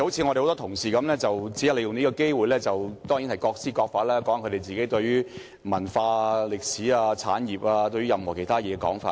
很多同事只是利用這個機會談談自己對文化、歷史、產業或其他事情的看法。